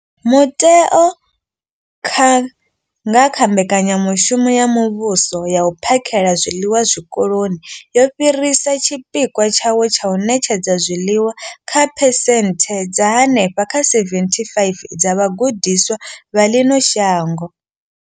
Muteo, nga kha mbekanyamushumo ya muvhuso ya u phakhela zwiḽiwa Zwikoloni, wo fhirisa tshipikwa tshawo tsha u ṋetshedza zwiḽiwa kha phesenthe dza henefha kha 75 dza vhagudiswa vha ḽino shango.